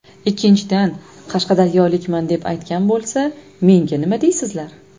Ikkinchidan, qashqadaryolikman deb aytgan bo‘lsa menga nima deysizlar?